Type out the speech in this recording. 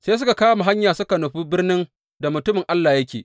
Sai suka kama hanya suka nufi birnin da mutumin Allah yake.